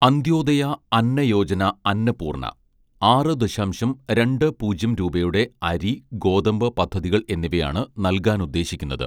അന്ത്യോദയ അന്ന യോജന അന്നപൂർണ ആറ് ദശാംശം രണ്ട് പൂജ്യം രൂപയുടെ അരി ഗോതമ്പ് പദ്ധതികൾ എന്നിവയാണ് നൽകാനുദ്ദേശിക്കുന്നത്